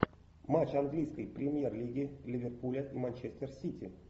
матч английской премьер лиги ливерпуля и манчестер сити